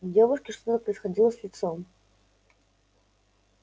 у девушки что происходило с лицом